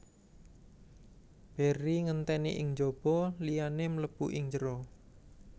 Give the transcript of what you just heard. Barry ngenteni ing jaba liyane mlebu ing jero